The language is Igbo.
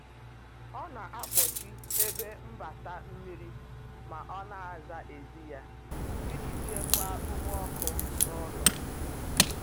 ọ na akpochi ebe mgbata mmiri ma ọ na asa eze ya, ijii chekwaa ume ọkụ n'ulo